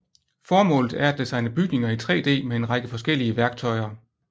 Formålet er at designe bygninger i 3D med en række forskellige værktøjer